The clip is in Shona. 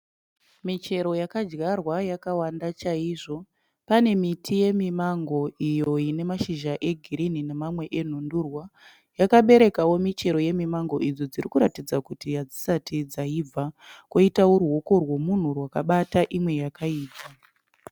Michero yakadyarwa yakawanda chaizvo. Pane miti yemimango iyo ine mashizha egirini nemamwe enhundurwa. Yakaberekawo michero yemimango idzo dziri kuratidza kuti hadzisati dzaibva, koitawo ruoko rwemunhu rwakabata imwe yaibva.